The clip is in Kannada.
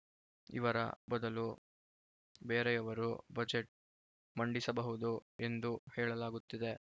ಇವರ ಬದಲು ಬೇರೆಯವರು ಬಜೆಟ್‌ ಮಂಡಿಸಬಹುದು ಎಂದು ಹೇಳಲಾಗುತ್ತಿದೆ